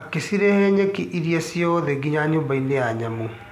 Akĩcirehe nyeki iria ciothe nginya nyũmbainĩ ya nyamũ .